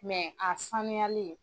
Mɛ a sanuyali